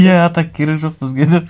иә а так керегі жоқ бізге деп